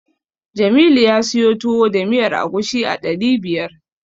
Jamilu ya siyo Tuwo da miyar agushi a ɗari biyar.